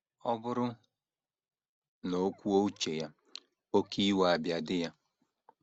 Ọ bụrụ na o kwuo uche ya, oké iwe abịa di ya.